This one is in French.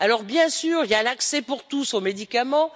Bien sûr, il y a l'accès pour tous aux médicaments.